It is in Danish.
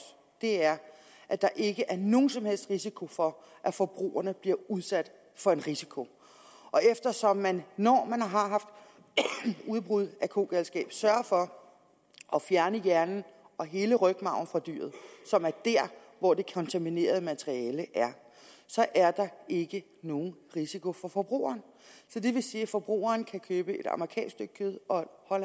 er at der ikke er nogen som helst risiko for at forbrugerne bliver udsat for en risiko eftersom man når man har haft udbrud af kogalskab sørger for at fjerne hjernen og hele rygmarven fra dyret som er der hvor det kontaminerede materiale er er der ikke nogen risiko for forbrugerne så det vil sige at forbrugerne kan købe et amerikansk stykke kød og